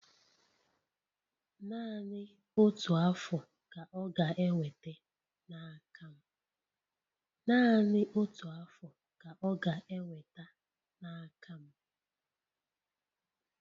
Naanị otu Afụ ka ọ ga-enweta n'aka m